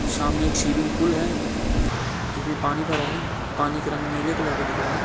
सामने एक swimming pool है जिसमे पानी भरा है पानी का रंग नीले कलर का दिख रहा है।